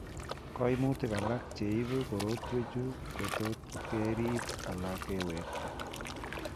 Koimutik alak cheibu korotwechuu kotot keriib ala kewekta